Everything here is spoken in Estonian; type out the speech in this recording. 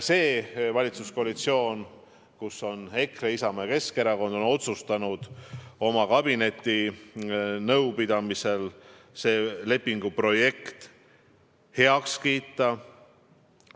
See valitsuskoalitsioon, kus on EKRE, Isamaa ja Keskerakond, otsustas kabinetinõupidamisel sellise lepingu projekti heaks kiita.